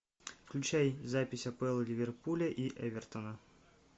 включай запись апл ливерпуля и эвертона